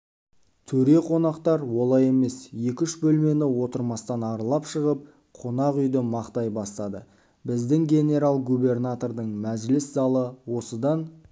төре қонақтар олай емес екі-үш бөлмені отырмастан аралап шығып қонақ үйді мақтай бастады біздің генерал-губернатордың мәжіліс залы осыдан